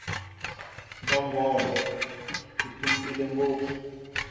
mbhongolo yi phuntile ngopfu